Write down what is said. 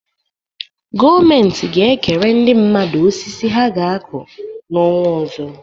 Gọọmenti ga-ekere ndị mmadụ osisi ha ga-akụ n'ọnwa ọzọ.